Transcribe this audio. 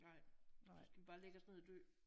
Nej så skal vi bare lægge os ned og dø